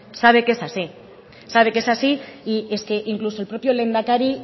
sabe que es así sabe que es así y es que incluso el proprio lehendakari